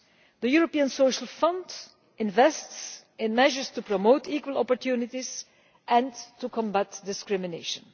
The European Social Fund invests in measures to promote equal opportunities and to combat discrimination.